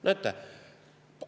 Näete!